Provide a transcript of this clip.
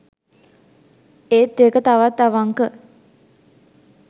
ඒත් ඒක තවත් අවංක